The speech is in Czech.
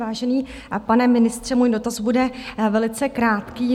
Vážený pane ministře, můj dotaz bude velice krátký.